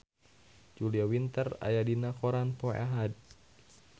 Julia Winter aya dina koran poe Ahad